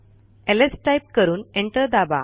lsटाईप करून एंटर दाबा